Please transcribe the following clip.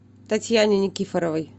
татьяне никифоровой